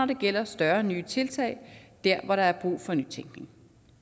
det gælder større nye tiltag dér hvor der er brug for nytænkning